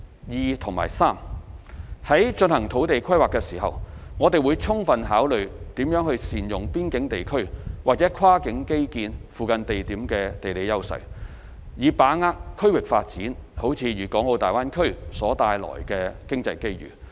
二及三在進行土地規劃時，我們會充分考慮如何善用邊境地區或跨境基建附近地點的地理優勢，以把握區域發展如大灣區所帶來的經濟機遇。